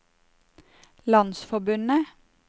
landsforbundet